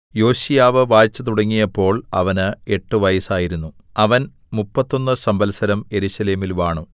യോശീയാവ് വാഴ്ച തുടങ്ങിയപ്പോൾ അവന് എട്ട് വയസ്സായിരുന്നു അവൻ മുപ്പത്തൊന്ന് സംവത്സരം യെരൂശലേമിൽ വാണു